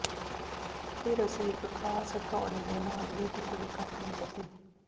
ਫਿਰ ਅਸੀਂ ਇਕ ਖ਼ਾਸ ਹਥੌੜੇ ਦੇ ਨਾਲ ਇਹ ਟੁਕੜੇ ਕੱਟ ਦਿੱਤੇ